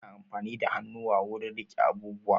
Ana amfani da hannuwa wurin riƙe abubuwa